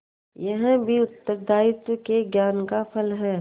यह भी उत्तरदायित्व के ज्ञान का फल है